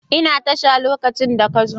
Ina tasha lokacin da ka zo.